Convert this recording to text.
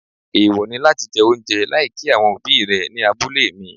Èèwọ̀ ni láti jẹ oúnjẹ láì kí àwọn òbí rẹ ní abúlé mi.